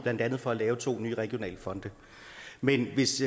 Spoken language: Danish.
blandt andet for at lave to nye regionale fonde men hvis